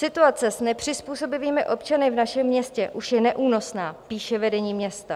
"Situace s nepřizpůsobivými občany v našem městě už je neúnosná," píše vedení města.